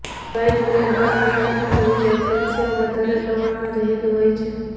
white બ્રેડમાં તુલનાત્મક રીતે કેલ્શ્યિમ વધારે પ્રમાણમાં રહેલું હોય છે